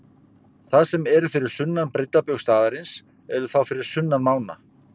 Þeir sem eru fyrir sunnan breiddarbaug staðarins eru þá fyrir sunnan mána.